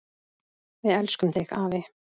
Við elskum þig, afi.